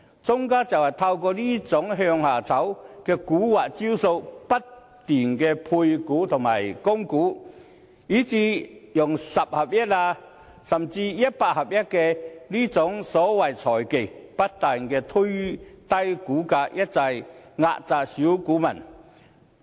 莊家就是透過這種"向下炒"的蠱惑招數，不斷配股和供股，以至使用"十合一"，甚至"一百合一"等所謂財技，不斷推低股價，一再壓榨小股民。